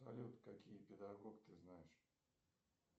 салют какие педагог ты знаешь